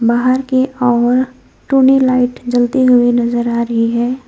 बाहर की ओर टुनी लाइट जलती हुई नजर आ रही है।